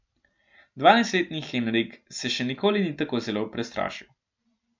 Dvanajstletni Henrik se še nikoli ni tako zelo prestrašil.